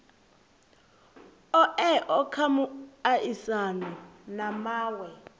oea kha muaisano na mawe